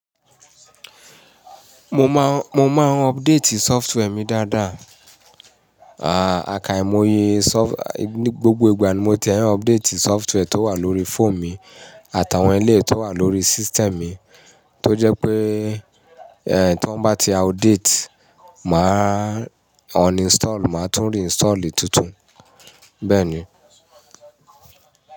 Mo máa ń update software mi dáadáa. Àkàám̀ó yé, gbogbo ìgbà ni mo ti ẹ ń update software tó wà lóri fóònù mi àtàwọn èléyìí tó wà lórí system mi, tó jẹ́ pé, ẹ ton bá ti outdate, máa uninstall, máa tún reinstall tuntun, bẹ́ẹ̀ ni.